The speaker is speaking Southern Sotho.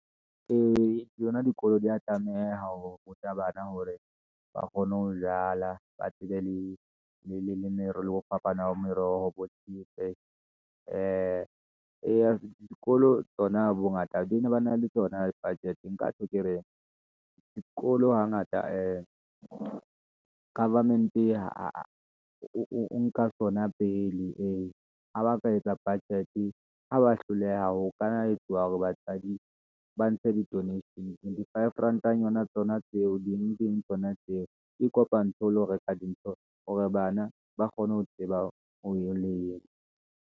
Ee, yona dikolo di ya tlameha ho ruta bana hore ba kgone ho jala, ba tsebe le leme, le ho fapana ha meroho , ee dikolo tsona bongata ba ne bana le tsona budget-e. Nka tjho ke re dikolo hangata ee government-e, ha o nka sona pele, ee ha ba ka etsa budget-e, ha ba hloleha ho kanna ha etsuwang hore batswadi, ba ntshe di-donation, di-five rand-nyona tsona tseo, ding ding tsona tseo, ke kopantshe o lo reka dintho, hore bana ba kgone ho tseba .